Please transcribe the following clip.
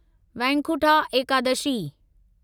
Vaikuntha Ekadashi